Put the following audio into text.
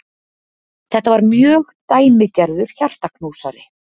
Þetta var mjög dæmigerður hjartaknúsari.